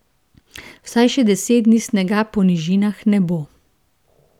Vsaj še deset dni snega po nižinah ne bo.